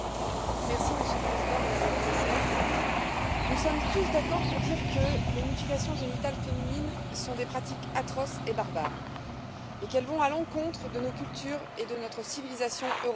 Monsieur le Président, Madame la Commissaire, nous sommes tous d'accord pour dire que les mutilations génitales féminines sont des pratiques atroces et barbares et qu'elles vont à l'encontre de nos cultures et de notre civilisation européenne.